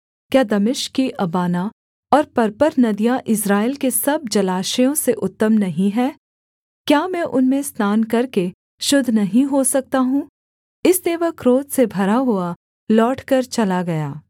क्या दमिश्क की अबाना और पर्पर नदियाँ इस्राएल के सब जलाशयों से उत्तम नहीं हैं क्या मैं उनमें स्नान करके शुद्ध नहीं हो सकता हूँ इसलिए वह क्रोध से भरा हुआ लौटकर चला गया